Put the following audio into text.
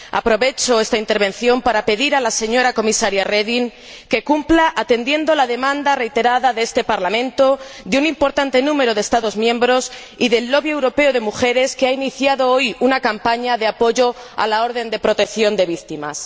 Aprovecho esta intervención para pedir a la señora Comisaria Reding que cumpla, atendiendo a la demanda reiterada de este Parlamento de un importante número de Estados miembros y del lobby europeo de mujeres, que ha iniciado hoy una campaña de apoyo a la orden de protección de víctimas.